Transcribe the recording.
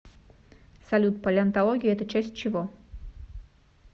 салют палеонтология это часть чего